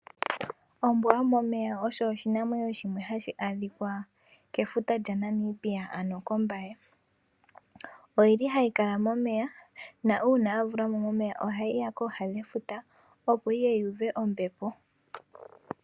Ombwa yomomeya oyo oshinamwenyo shimwe hashi adhika kefuta lyaNamibi aano kOmbaye. Ohayi kal amomeya nuuna ya vulwa mo momeya ohayi ya kooha dhefuta, opo yi ye yu uve ombepo.